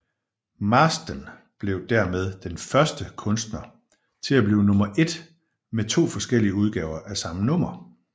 Marsden blev dermed den første kunstner til at blive nummer ét med to forskellige udgaver af samme nummer